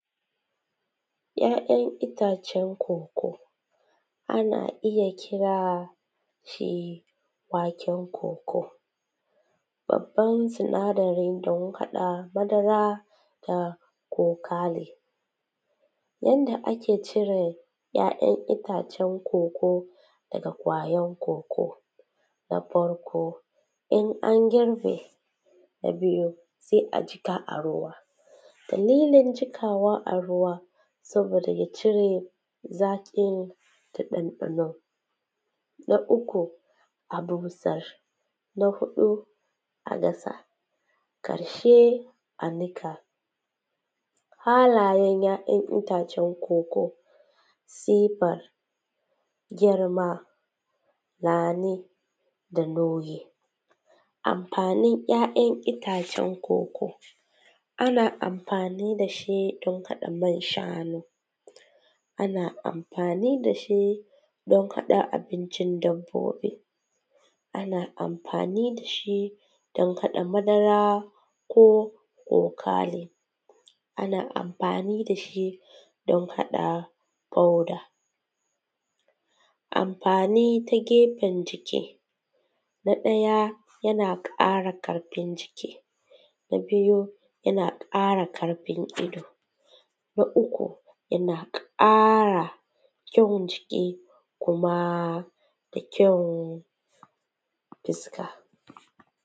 ‘Ya’yan itacen koko, ana iya kira shi bakin koko, babban sinadarin da ya haɗa madara da kokale. Yanda ake cire ‘ya’yan itacen koko daga ƙwayan koko; na farko, in an girbe, na biyu, sai a jiƙa a ruwa. Dalilin jiƙawa a ruwa saboda ya cire zaƙin ta ɗanɗano. Na uku a busar, na huɗu a dasa, ƙarshe a niƙa. Halayen ‘ya’yan itacen koko, sifar girma na ne da nauyi. Amfanin ‘ya’yan itacen koko, ana amfani da shi don haɗa man-shanu, ana amfani da shi don haɗa abincin dabbobi, ana amfani da shi don haɗa madara ko kokale, ana amfani da shi don haɗa powder. Amfani ta gefen jiki; na ɗaya yana ƙara ƙarfin jiki, na biyu yana ƙara ƙarfin ido, na uku yana ƙara kyan jiki da kyan fuska.